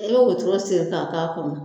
An ye wotoro siri k'a k'a kɔnɔ